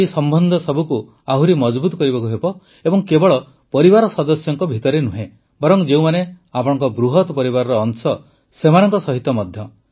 ଆମକୁ ଏହି ସମ୍ବନ୍ଧ ସବୁକୁ ଆହୁରି ମଜଭୁତ କରିବାକୁ ହେବ ଏବଂ କେବଳ ପରିବାର ସଦସ୍ୟଙ୍କ ଭିତରେ ନୁହେଁ ବରଂ ଯେଉଁମାନେ ଆପଣଙ୍କ ବୃହତ୍ ପରିବାରର ଅଂଶ ସେମାନଙ୍କ ସହିତ ମଧ୍ୟ